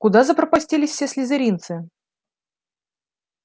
куда запропастились все слизеринцы